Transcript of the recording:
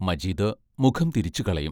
മജീദ് മുഖം തിരിച്ചു കളയും.